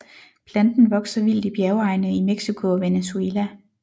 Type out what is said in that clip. Planten vokser vildt i bjergegne i Mexico og Venezuela